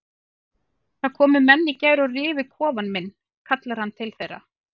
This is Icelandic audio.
Það komu menn í gær og rifu kofann minn kallar hann til þeirra.